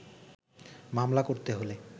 মামলা করতে হলে